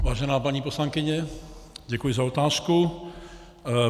Vážená paní poslankyně, děkuji za otázku.